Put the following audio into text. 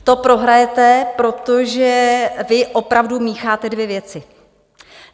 To prohrajete, protože vy opravdu mícháte dvě věci.